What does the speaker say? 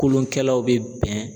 Kolonkɛlaw bɛ bɛn